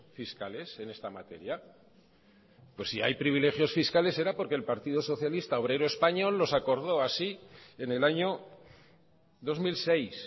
fiscales en esta materia pues si hay privilegios fiscales será porque el partido socialista obrero español los acordó así en el año dos mil seis